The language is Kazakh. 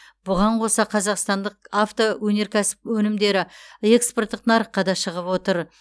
бұған қоса қазақстандық автоөнеркәсіп өнімдері экспорттық нарыққа да шығып отыр